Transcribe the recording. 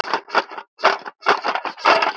Og hvað með það!